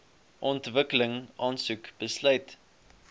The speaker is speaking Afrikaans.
ontwikkeling aansoek besluit